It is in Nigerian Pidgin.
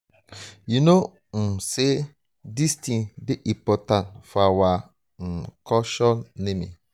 you no um say dis thing dey important for our um culture naming